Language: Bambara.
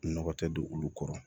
Nɔgɔ tɛ don olu kɔrɔ